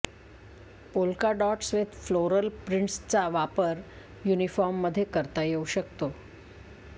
polka dots with floral प्रिंटसचा वापर युनिफॉर्ममध्ये करता येऊ शकतो